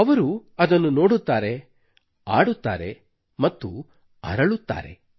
ಅವರು ಅದನ್ನು ನೋಡುತ್ತಾರೆ ಆಡುತ್ತಾರೆ ಮತ್ತು ಅರಳುತ್ತಾರೆ